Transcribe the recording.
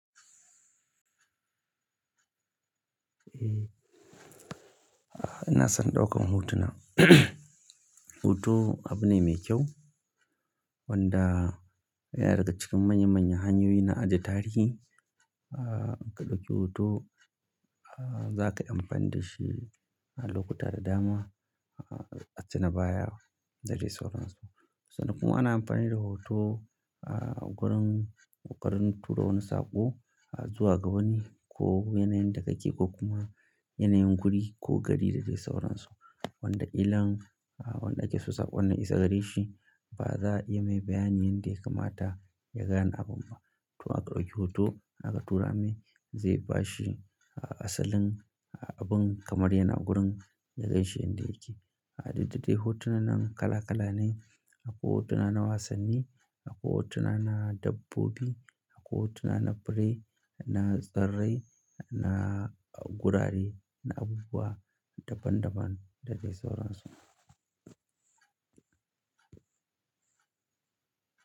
Eh, ina son ɗaukan hotuna. Hoto abu ne mai kyau wanda yana daga cikin manya-manyan hanyoyi na ajiye tarihi. Ka ɗauki hoto, za ka yi amfani da shi a lokuta da dama, a tuna baya da dai sauransu. Sanan kuma ana amfani da hoto, gurin ƙoƙarin tura wani saƙo zuwa ga wani ko yanayin da ka ke ko kuma yanayin guri ko gari da dai sauransu wanda illan, wanda ake so saƙon na isa gare shi ba za'a iya mai bayanin yanda ya kamata ya gan abun ba. To aka ɗauki hoto aka tura mai zai bashi asalin abin kamar yana gurin ya gan shi yanda yake. Duk da dai hotunan kala kala ne. Akwai hotuna na wasanni, akwai hotuna na dabbobi, akwai hotuna na birai, na tsirrai, na gurare, na abubuwa daban daban da dai sauransu.